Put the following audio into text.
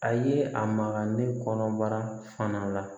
A ye a maga ne kɔnɔ bara fana la